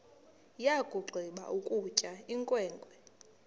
yakugqiba ukutya inkwenkwe